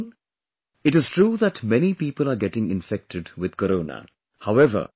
My dear countrymen, it is true that many people are getting infected with Corona